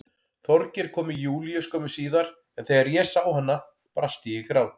Þorgeir kom með Júlíu skömmu síðar en þegar ég sá hana brast ég í grát.